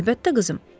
Əlbəttə, qızım.